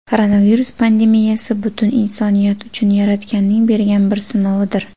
Koronavirus pandemiyasi butun insoniyat uchun Yaratganning bergan bir sinovidir.